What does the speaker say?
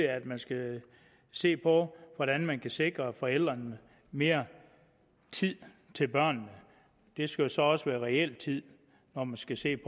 at man skal se på hvordan man kan sikre forældrene mere tid til børnene det skal jo så også være reel tid når man skal se